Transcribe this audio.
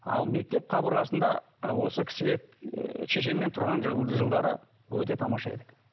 ал мектеп қабырғасында ы осы кісіге ы шешеммен тұрған жылдары өте тамаша едік